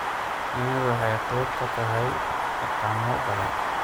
Shinnidu waxay qayb ka tahay dhaqamo badan.